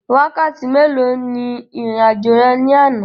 Wákàtí mélòó ni ìrìn àjò rẹ ní àná?